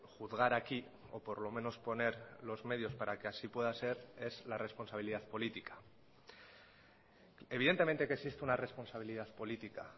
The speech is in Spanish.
juzgar aquí o por lo menos poner los medios para que así pueda ser es la responsabilidad política evidentemente que existe una responsabilidad política